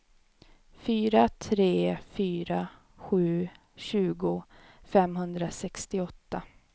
fyra tre fyra sju tjugo femhundrasextioåtta